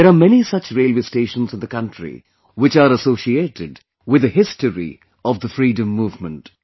There are many such railway stations in the country, which are associated with the history of the freedom movement